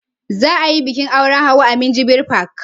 Za a yin bikin auren Hauwa a minjibir fak